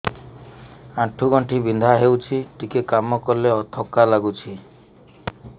ଆଣ୍ଠୁ ଗଣ୍ଠି ବିନ୍ଧା ହେଉଛି ଟିକେ କାମ କଲେ ଥକ୍କା ଲାଗୁଚି